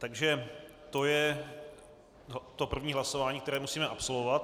Takže to je to první hlasování, které musíme absolvovat.